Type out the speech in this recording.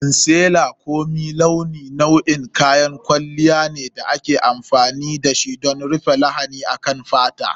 Concealer ko mai gyara launi nau'in kayan kwalliya ne da ake amfani da shi don rufe lahani akan fata.